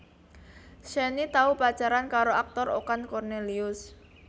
Shenny tau pacaran karo aktor Okan Kornelius